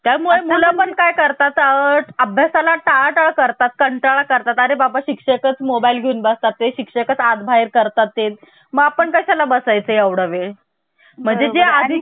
त्यामुळे मुला पण काय करतात अभ्यासा ला टाळाटाळ करतात कंटाळा करतात आणि बाबा शिक्षकच मोबाईल घेऊन बस तात शिक्षक असतात बाहेर करतात ते मग आपण कशा ला बसायचंएवढा वेळ म्हणजे आधी चे